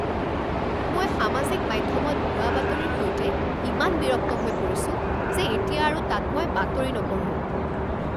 মই সামাজিক মাধ্যমত ভুৱা বাতৰিৰ সৈতে ইমান বিৰক্ত হৈ পৰিছো যে এতিয়া আৰু তাত মই বাতৰি নপঢ়ো।